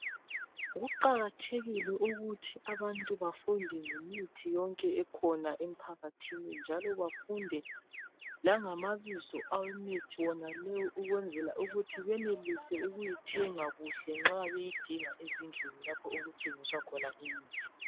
Kuqakathekile ukuthi abantu bafunde ngemithi yonke ekhona emphakathini njalo bafunde langamabizo awemithi wonaleyo ukwenzela ukuthi benelise ukuyithenga kuhle nxa beyidinga ezindlini lapho okuthengiswa khona imithi.